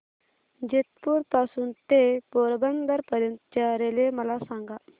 जेतपुर पासून ते पोरबंदर पर्यंत च्या रेल्वे मला सांगा